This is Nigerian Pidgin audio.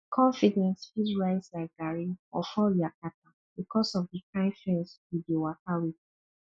confidence fit rise like garri or fall yakata bikos of di kain friends yu dey waka wit